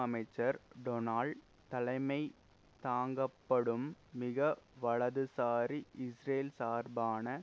அமைச்சர் டொனால் தலைமை தாங்கப்படும் மிக வலதுசாரி இஸ்ரேல் சார்பான